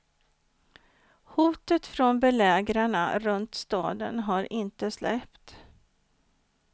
Hotet från belägrarna runt staden har inte släppt.